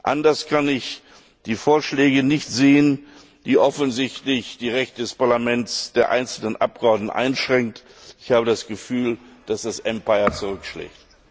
Anders kann ich die Vorschläge nicht sehen, die offensichtlich die Rechte des Parlaments, der einzelnen Abgeordneten einschränken. Ich habe das Gefühl, dass das Empire zurückschlägt.